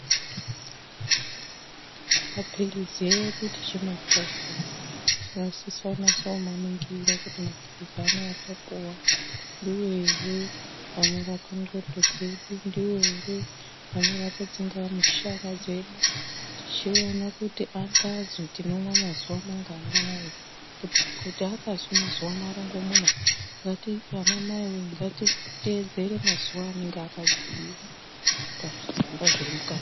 Mapilizi edu tichimapuwa tinosisa kunaso kumaningira kuti mapilizi anawa atapuwa ndiwo ere anorapa ndxondo dzedu, ndiwo ere anorapa tsingamushana dzedu. Tichiona kuti akazwi tinomwa mazuwa manganai, kuti akazwi mazuwa marongomuna anamaiwee ngatitedzere mazuwa anenge akabhuyiwa pazvitsamba zviri mukati.